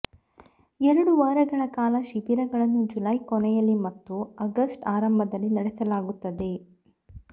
ಎರಡು ವಾರಗಳ ಕಾಲ ಶಿಬಿರಗಳನ್ನು ಜುಲೈ ಕೊನೆಯಲ್ಲಿ ಮತ್ತು ಆಗಸ್ಟ್ ಆರಂಭದಲ್ಲಿ ನಡೆಸಲಾಗುತ್ತದೆ